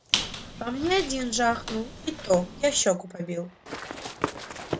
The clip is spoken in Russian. по мне один жахнул и то я щёку побил